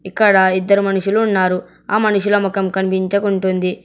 ఇక్కడ ఇద్దరు మనుషులు ఉన్నారు ఆ మనుషుల మొఖం కనిపించకుంటుంది.